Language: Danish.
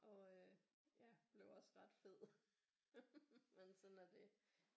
Og øh ja blev også ret fed men sådan er det